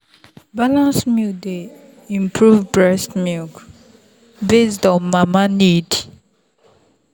balanced meal dey improve breast milk based on mama need.